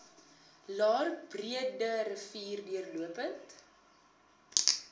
laer breederivier deurlopend